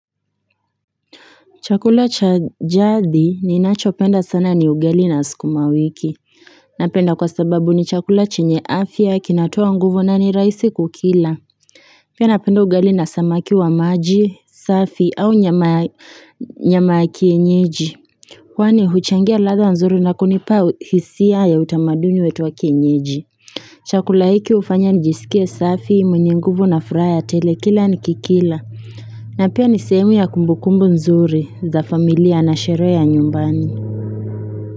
Chakula cha jadhi ninachopenda sana ni ugali na sukumawiki. Napenda kwa sababu ni chakula chenye afya kinatoa nguvu na ni raisi kukila. Pia napenda ugali na samaki wa maji, safi au nyama ya kienyeji. Kwani huchangia ladha nzuri na kunipa hisia ya utamaduni wetu wa kienyeji. Chakula hiki ufanya nijisikie safi mwenye nguvu na furaha ya tele kila nikikila. Na pia nisehemu ya kumbukumbu nzuri za familia na sherehe ya nyumbani.